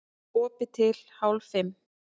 Opið til hálf fimm